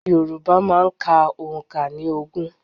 Yorùbá máa ń ka òǹkà ní ogún.